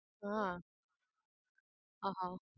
હા આહ